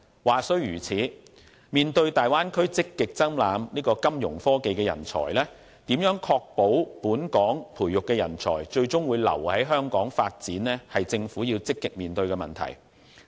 話雖如此，面對大灣區積極爭攬金融科技人才，如何確保本港培育的人才最終會留在香港發展，是政府要積極面對的問題。